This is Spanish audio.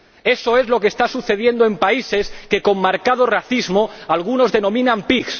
Eso es lo que está sucediendo en países que con marcado racismo algunos denominan PIGS.